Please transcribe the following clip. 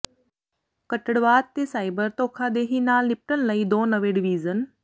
ਕੱਟੜਵਾਦ ਤੇ ਸਾਈਬਰ ਧੋਖਾਦੇਹੀ ਨਾਲ ਨਿਪਟਣ ਲਈ ਦੋ ਨਵੇਂ ਡਿਵੀਜ਼ਨ